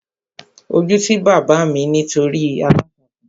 Ojú ti bàbá mi nítorí aláǹtakùn